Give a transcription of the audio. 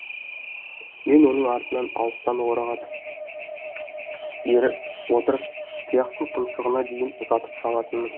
мен оның артынан алыстан орағытып еріп отырып тұяқтың тұмсығына дейін ұзатып салатынмын